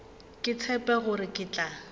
ke tshepe gore ke tla